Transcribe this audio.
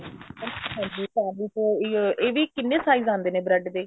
ਅੱਛਾ ਜੀ ਆਹ ਵੀ ਹੈ ਇਹਦੇ ਕਿੰਨੇ size ਆਉਂਦੇ ਨੇ bread ਦੇ